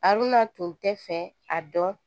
Aruna tun tɛ fɛ a dɔn